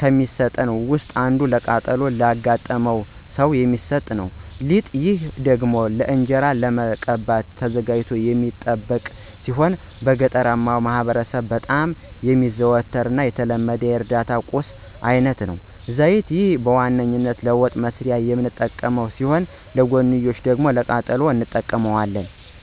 ከሚሰጡት ውስጥ አንዱ ቃጠሎ ላጋጠመው ሰው የሚሰጥ ነው። ፪) ሊጥ፦ ይህ ደግሞ ለእንጅራ ለመቀባት ተዘጋጅቶ የሚጠብቅ ሲሆን በገጠራማው ማህበረሰብ በጣም የሚዘወተር እና የተለመደ የእርዳታ ቁሳቁስ አይነት ነው። ፫) ዘይት፦ ይህ በዋነኛነት ለወጥ መስሪያነት የምንጠቀመው ሲሆን ለጎንዮሽ ደግሞ ለቃጠሎም እንጠቀመዋለን።